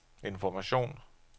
information